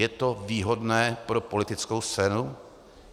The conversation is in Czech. Je to výhodné pro politickou scénu?